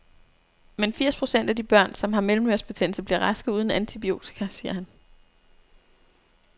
Men firs procent af de børn, som har mellemørebetændelse, bliver raske uden antibiotika, siger han.